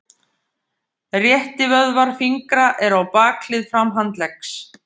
Réttivöðvar fingra eru á bakhlið framhandleggs.